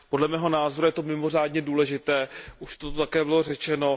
Podle mého názoru je to mimořádně důležité, už to tady také bylo řečeno.